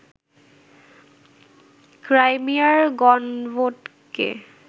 ক্রাইমিয়ার গণভোটকে